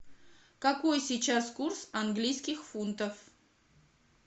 какой сейчас курс английских фунтов